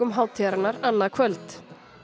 hátíðarinnar annað kvöld